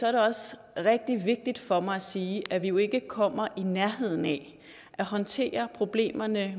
er det også rigtig vigtigt for mig at sige at vi jo ikke kommer i nærheden af at håndtere problemerne